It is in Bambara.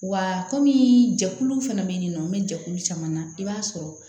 Wa kɔmi jɛkuluw fɛnɛ be yen nɔ n bɛ jɛkulu caman na i b'a sɔrɔ